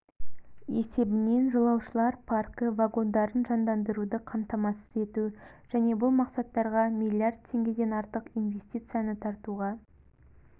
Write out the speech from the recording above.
есебінен жолаушылар паркі вагондарын жандандыруды қамтамасыз ету және бұл мақсаттарға миллиард теңгеден артық инвестицияны тартуға